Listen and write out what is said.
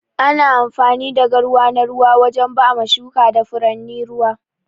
Ana amfani da garwa na ruwa wajen bama shuka da furanni ruwa.